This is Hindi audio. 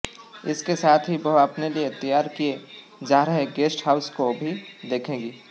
इसके साथ ही वह अपने लिए तैयार किये जा रहे गेस्ट हाउस को भी देखेंगी